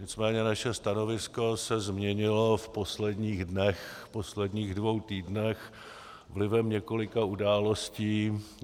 Nicméně naše stanovisko se změnilo v posledních dnech, posledních dvou týdnech vlivem několika událostí.